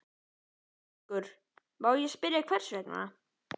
ÞÓRBERGUR: Má ég spyrja hvers vegna?